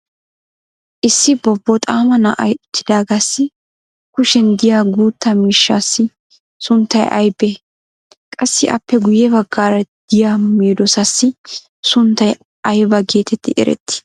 issi bobboxaama na'ay uttidaagassi kushiyan diya guutta miishshaassi sunttay aybee? qassi appe guye bagaara diya medoosaassi sunttay aybba geetetti erettii?